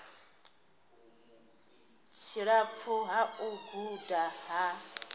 tshilapfu ha u guda ha